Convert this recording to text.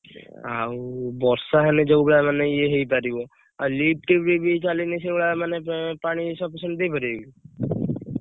ଆଉ ବର୍ଷା ହେଲେ ଯଉ ଭଳିଆ ମାନେ ଇଏ ହେଇପାରିବ ଆଉ lift ରେ ବିଏଇଛା ଚାହିଁଲେ ସେଇ ଭଳିଆ ମାନେ ପାଣି sufficient ଦେଇପାରିବେ କି।